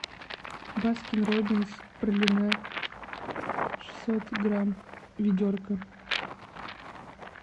баскин робинс пралине шестьсот грамм ведерко